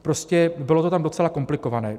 Prostě bylo to tam docela komplikované.